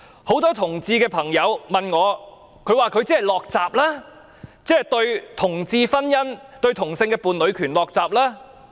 很多同志朋友問我，她是否"落閘"，對同志婚姻，對同性伴侶權"落閘"？